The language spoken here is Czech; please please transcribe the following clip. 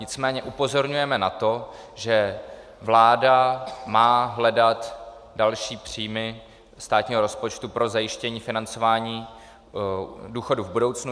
Nicméně upozorňujeme na to, že vláda má hledat další příjmy státního rozpočtu pro zajištění financování důchodů v budoucnu.